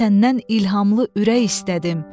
Mən səndən ilhamlı ürək istədim.